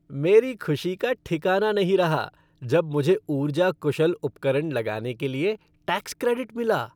मेरी खुशी का ठिकाना नहीं रहा जब मुझे ऊर्जा कुशल उपकरण लगाने के लिए टैक्स क्रेडिट मिला।